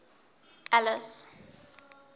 alice